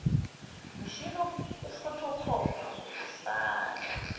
mshini wokufothokhopha uzosala